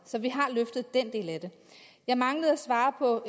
så vi har løftet den del af det jeg manglede at svare på